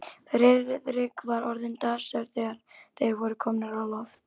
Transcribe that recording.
Friðrik var orðinn dasaður, þegar þeir voru komnir á loft.